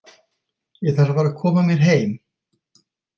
Ég þarf að fara að koma mér heim.